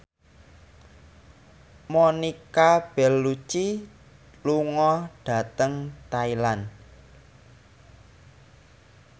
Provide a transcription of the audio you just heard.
Monica Belluci lunga dhateng Thailand